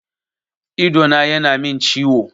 Idona ya na min ciwo